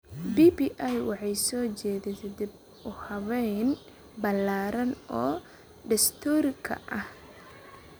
BBI waxay soo jeedisay dib-u-habayn ballaaran oo dastuurka ah.